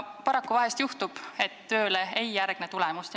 Paraku vahel juhtub, et tööle ei järgne tulemust.